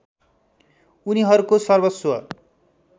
उनीहरूको सर्वस्व